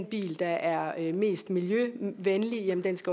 biler der er mest miljøvenlige